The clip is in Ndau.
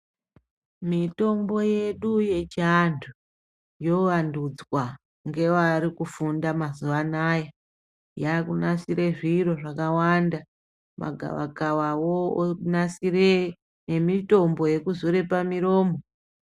Mitombo yedu yechiantu yovandudzwa ngevari kufunda mazuvano aya, yaakunasire zviro zvakawanda. Magavakavawo onasire ngemitombo yekuzore pamuromo.